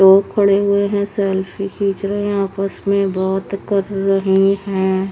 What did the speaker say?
लोग खड़े हुए है सेल्फी खीच रहे है आपस में बात कर रहे है ।